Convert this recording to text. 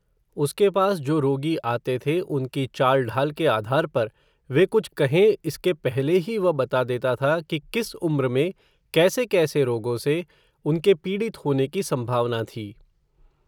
उसके पास, जो रोगी आते थे, उनकी चालढ़ाल के आधार पर, वे कुछ कहें, इसके पहले ही, वह बता देता था, कि किस उम्र में, कैसे कैसे रोगो से, उनके पीड़ित होने की, संभावना, थी